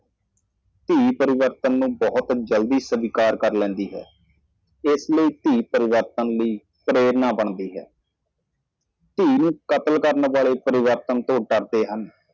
ਧੀ ਤਬਦੀਲੀ ਨੂੰ ਬਹੁਤ ਜਲਦੀ ਸਵੀਕਾਰ ਕਰਦੀ ਹੈ ਇਸ ਲਈ ਧੀ ਤਬਦੀਲੀ ਦੀ ਪ੍ਰੇਰਨਾ ਬਣ ਜਾਂਦੀ ਹੈ ਧੀਆਂ ਦੇ ਕਾਤਲਾਂ ਨੂੰ ਬਦਲਾਅ ਦਾ ਡਰ ਹੈ